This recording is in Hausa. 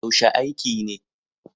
Yaushe aiki ne?